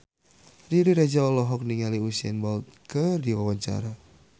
Riri Reza olohok ningali Usain Bolt keur diwawancara